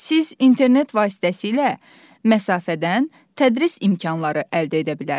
Siz internet vasitəsilə məsafədən tədris imkanları əldə edə bilərsiniz.